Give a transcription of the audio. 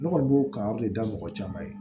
Ne kɔni b'o kan de da mɔgɔ caman ye